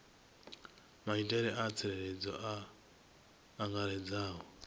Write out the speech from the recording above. maitele a tsireledzo a angaredzaho